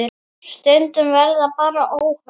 Stundum verða bara óhöpp.